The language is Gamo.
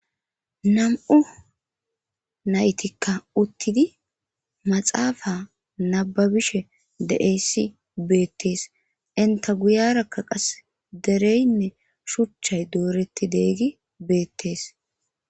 Nam"u naytikka uttidi maxaafa nababishe deeyssi beettees. enta guyerakka qas dereynne shuchchay dooretti deeyidi beettes.